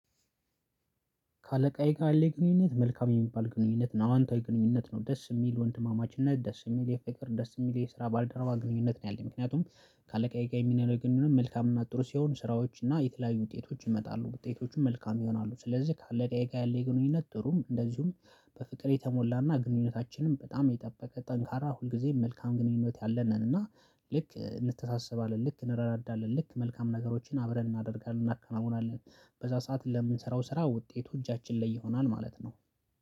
ከአለቃዬ ጋር ያለኝ ግንኙነት መልካም የሚባል ግንኙነት ነው አዋንታዊ ግንኙነት ነው ደስ የሚል ወንድማማችነት ደስ የሚል የፍቅር ደስ የሚል የስራ ባልደረባ ግንኙነት ነው። ያለኝ ምክንያቱም ከአለቃዬ ጋር የሚናረገውንም መልካም እና ጥሩ ሲሆን ስራዎች እና የተለያዩ ውጤቶች ይመጣሉ ውጤቶቹም መልካም ይሆናሉ። ስለዚህ ከአለቃዬ ጋር ያለኝ ግንኙነት ጥሩ ነው። እንደዚሁም በፍቅር የተሞላና ግንኙነታችንም በጣም የጠበቀ ጠንካራ ሁልጊዜም መልካም ግንኙነት ያለን ነን። እና ልክ እንተሳሰባለን ልክ እንረዳዳለን ልክ መልካም ነገሮችን አብረን እናደርጋለን እናከናውናለን። በዛ ሰዓት ለምንሰራው ስራ ውጤቱ እጃችን ላይ ይሆናል ማለት ነው።